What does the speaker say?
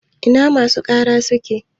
Ina masu ƙara suke?